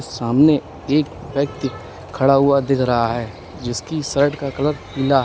सामने एक व्यक्ति खड़ा हुआ दिख रहा है जिसकी शर्ट का कलर पीला है।